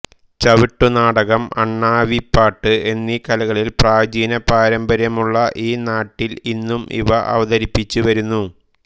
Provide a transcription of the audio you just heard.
ചവിട്ടുനാടകം അണ്ണാവിപ്പാട്ട് എന്നീ കലകളിൽ പ്രാചീന പാരമ്പര്യമുളള ഈ നാട്ടിൽ ഇന്നും ഇവ അവതരിപ്പിച്ചുവരുന്നു